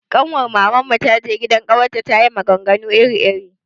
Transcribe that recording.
Kanwar Maman mu ta je gidan ƙawarta ta yi maganganu iri iri.